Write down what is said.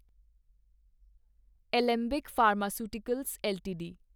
Alembic pharmaceuticals LTD